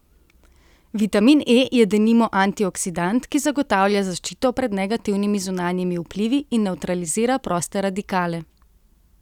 Vitamin E je denimo antioksidant, ki zagotavlja zaščito pred negativnimi zunanjimi vplivi in nevtralizira proste radikale.